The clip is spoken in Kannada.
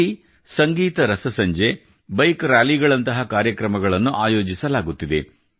ಇಲ್ಲಿ ಸಂಗೀತ ರಸಸಂಜೆ ಬೈಕ್ ರಾಲಿಗಳಂತಹ ಕಾರ್ಯಕ್ರಮಗಳನ್ನು ಆಯೋಜಿಸಲಾಗುತ್ತಿದೆ